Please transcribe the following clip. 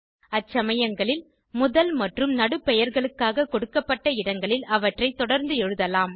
அச்சமயங்களில் முதல் மற்றும் நடு பெயர்களுக்காக கொடுக்கப்பட்ட இடங்களில் அவற்றை தொடர்ந்து எழுதலாம்